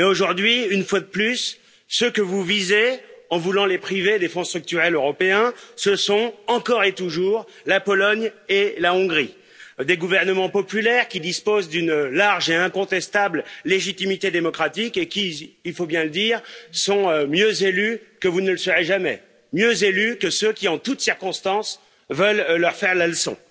Mais aujourd'hui, une fois de plus, ceux que vous visez en voulant les priver des fonds structurels européens, ce sont, encore et toujours, la Pologne et la Hongrie, des gouvernements populaires qui disposent d'une large et incontestable légitimité démocratique et qui, il faut bien le dire, sont mieux élus que vous ne le serez jamais, mieux élus que ceux qui, en toutes circonstances, veulent leur faire la leçon.